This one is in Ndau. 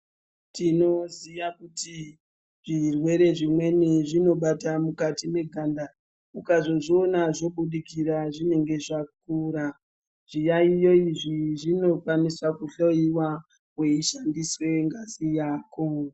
Tinoziya kuti zvirwere zvimweni zvinobata mukati meganda ukazozviona zvobudikira zvinenge zvakura Zviyaiyo izvi zvinokwanisa kuhloyiwa weishandiswe ngazi yako.